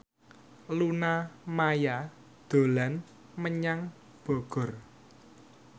Luna Maya dolan menyang Bogor